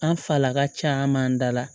An falaka caman dala